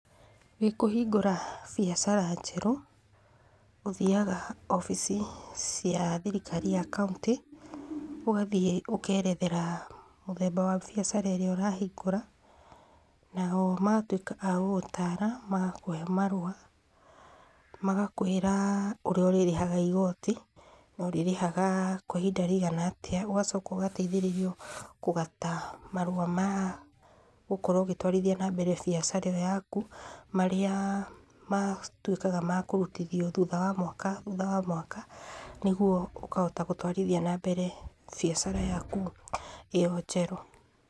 Wĩkũhingũra biacara njerũ, ũthiaga obici cia thirikari ya kauntĩ, ũgathiĩ ũkerethera mũthemba wa biacara ĩrĩa ũrahingũra nao magatwĩka a gũgũtara magakũhe marũa, magakwĩra ũrĩa ũrĩrĩhaga igoti na ũrĩrĩhaga kwa ihinda rĩigana atĩa, ũgacoka ũgateithĩrĩrio kũgata marũa ma gũkorwo ũgĩtwarithia na mbere biacara ĩo yaku, marĩa matuĩkaga makũrutithio thutha wa mwaka thutha wa mwaka, nĩguo ũkahota gũtwarithia na mbere biacara yaku ĩo njerũ.